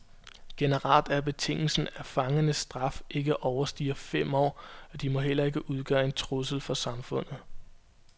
Generelt er betingelsen, at fangernes straf ikke overstiger fem år, og de må heller ikke udgøre en trussel for samfundet.